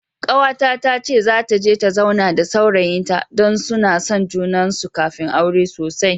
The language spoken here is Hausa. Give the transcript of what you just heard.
Kawata tace zata je ta zauna da saurayin ta, dan su san juna sosai kafin suyi aure.